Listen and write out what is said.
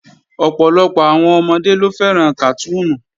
Ọ̀pọ̀lọpọ̀ àwọn ọmọdé ló fẹ́ràn kàtúùnù